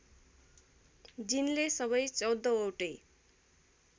जिनले सबै १४ वटै